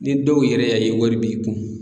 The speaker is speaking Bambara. Ni dɔw yɛrɛ y'a ye wari b'i kun